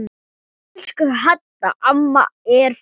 Elsku Hadda amma er farin.